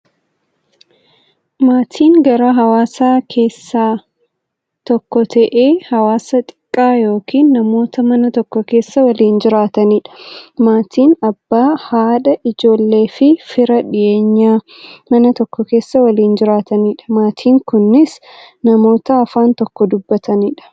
Maatiin garaa hawaasaa keessaa tokko ta'ee, hawaasa xiqqaa yookin namoota Mana tokko keessaa waliin jiraataniidha. Maatiin Abbaa, haadha, ijoolleefi fira dhiyeenyaa, Mana tokko keessaa waliin jiraataniidha. Maatiin kunnis, namoota afaan tokko dubbataniidha.